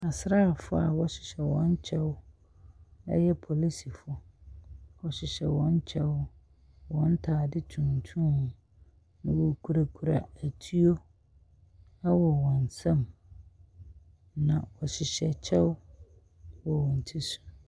Asrafo a wɔhyehyɛ wɔn kyɛw; ɛyɛ apolisifo. Wɔhyehyɛ wɔn kyɛw, wɔn ataade tuntum, na wokurakura atuo wɔ wɔn nsam. Na wohyehyɛ kyɛw wɔ wɔn ti so.